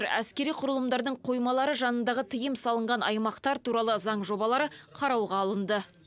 әскери құрылымдардың қоймалары жанындағы тыйым салынған аймақтар туралы заң жобалары қарауға алынды